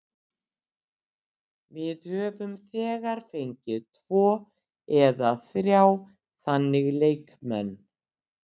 Við höfum þegar fengið tvo eða þrjá þannig leikmenn.